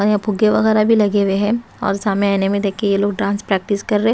यहां फुगे वगैरा भी लगे हुए हैं और सामेआने में देखिए ये लोग डांस प्रैक्टिस के रहे--